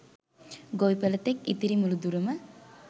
ගොවිපළ තෙක් ඉතිරි මුළු දුරම